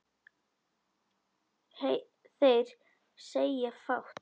Þeir segja fátt